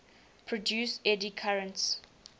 produce eddy currents